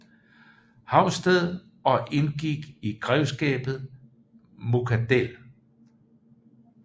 Haugsted og indgik i grevskabet Muckadell